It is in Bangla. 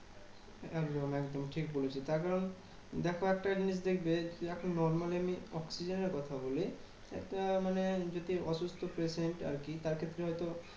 একদম একদম ঠিক বলেছো। তার কারণ দেখো, একটা জিনিস দেখবে যে, এখন normally আমি oxygen এর কথা বলি, এটা মানে যদি অসুস্থ patiant আরকি তার ক্ষেত্রে হয়তো